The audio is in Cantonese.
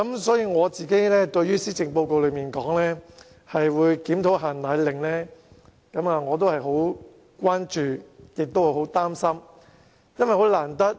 所以，對於施政報告提出檢討"限奶令"，我十分關注，而且感到十分擔心。